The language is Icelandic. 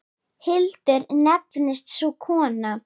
Hildur nefnist sú kona.